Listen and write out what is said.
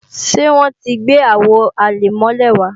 Ṣé wọ́n ti gbé Àwo àlẹ̀mọ́lẹ̀ wá